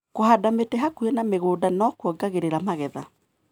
Kũhanda mĩtĩ hakuhĩ na mĩgũnda nĩkuongagĩrĩra magetha.